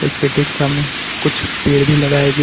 इसके ठीक सामने कुछ पेड़ भी लगाएं गए--